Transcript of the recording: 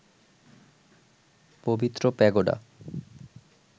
পবিত্র প্যাগোডা